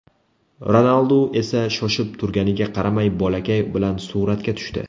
Ronaldu esa shoshib turganiga qaramay bolakay bilan suratga tushdi.